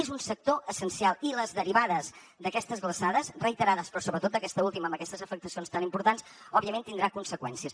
és un sector essencial i les derivades d’aquestes glaçades reiterades però sobretot aquesta última amb aquestes afectacions tan importants òbviament tindran conseqüències